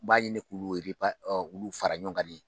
U b'a ɲini k'u K'u fara ɲɔgɔn kan ye.